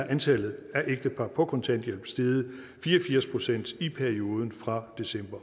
antallet af ægtepar på kontanthjælp steget fire og firs procent i perioden fra december